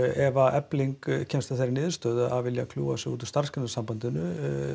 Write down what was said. ef Efling kemst að þeirri niðurstöðu að vilja kljúfa sig út úr Starfsgreinasambandinu